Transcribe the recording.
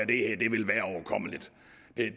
det